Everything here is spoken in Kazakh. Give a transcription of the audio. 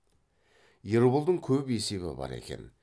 ерболдың көп есебі бар екен